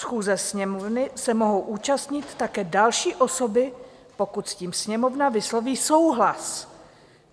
Schůze Sněmovny se mohou účastnit také další osoby, pokud s tím Sněmovna vysloví souhlas.